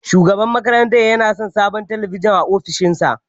Shugaban makarantar yana son sabon talabijin a ofishinsa.